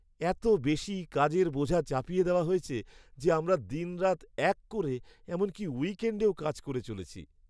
এত বেশি কাজের বোঝা চাপিয়ে দেওয়া হয়েছে যে আমরা দিনরাত এক করে, এমনকি উইকেণ্ডেও কাজ করে চলেছি।